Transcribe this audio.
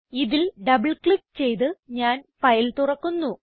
ഇതിൽ double click ചെയ്ത് ഞാൻ ഫയൽ തുറക്കുന്നു